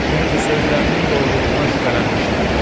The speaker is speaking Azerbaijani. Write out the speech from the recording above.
Çünki sözlərinin doğruluğuna şübhələnmişdim.